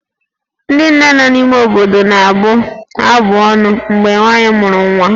Ndị nne nọ n'ime obodo na-abụ abụ ọnụ mgbe nwaanyị mụsịrị nwa